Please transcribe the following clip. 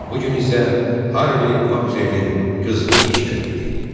Bu gün isə Harvi Maksuelin qızğın iş günü idi.